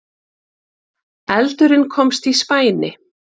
Eldurinn komst í spæni